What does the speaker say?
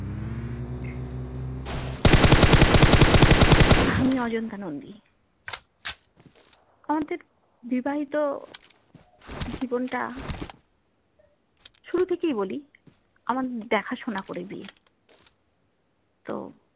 আমি অজান্তা নন্দী আমাদের বিবাহিত জীবনটা শুরু থেকেই বলি আমার দেখাশোনা করে বিয়ে তো